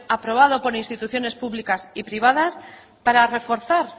aprobado por instituciones públicas y privadas para reforzar